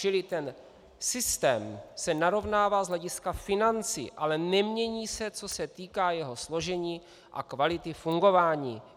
Čili ten systém se narovnává z hlediska financí, ale nemění se, co se týká jeho složení a kvality fungování.